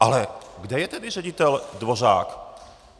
Ale kde je tedy ředitel Dvořák?